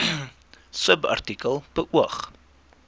subartikel beoog